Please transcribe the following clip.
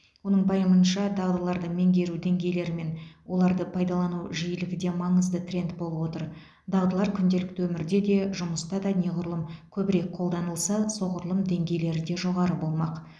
оның пайымынша дағдыларды меңгеру деңгейлері мен оларды пайдалану жиілігі де маңызды тренд болып отыр дағдылар күнделікті өмірде де жұмыста да неғұрлым көбірек қолданылса соғұрлым деңгейлері де жоғары болмақ